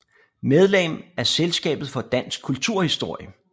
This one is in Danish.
Medlem af Selskabet for Dansk Kulturhistorie